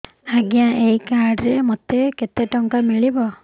ଆଜ୍ଞା ଏଇ କାର୍ଡ ରେ ମୋତେ କେତେ ଟଙ୍କା ମିଳିବ